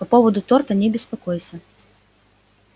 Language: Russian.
по поводу торта не беспокойся